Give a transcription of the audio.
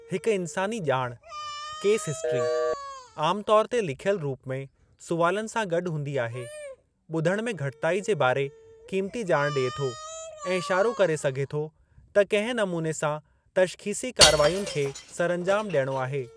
हिकु इन्सानी ॼाणु (केस हिस्टरी ; आम तौरु ते लिख्यल रुप में, सवालनि सां गॾु हूंदी आहे) ॿुधणु में घटिताई जे ॿारे क़ीमती ॼाण डि॒ए थो, ऐं इशारो करे सघे थो त किंहिं नमूने सां तश्ख़ीसी कारवायुनि खे सरअंजामु डि॒यणो आहे।